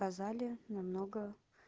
сказали намного